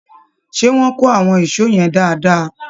Ṣé wọ́n kó àwọn ìṣọ́ yẹn dáadáa?